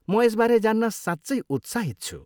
म यसबारे जान्न साँच्चै उत्साहित छु।